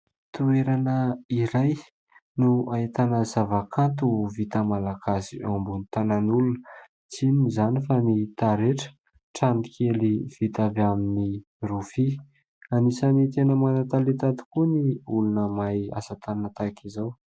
Toerana iray no ahitana zava- kanto vita malagasy eo ambony tanan'olona tsy inona izany fa ny taretra ; trano kely vita avy amin'ny rofia. Anisan'ny tena mana - talenta tokoa ny olona mahay asa tanana tahaka izao.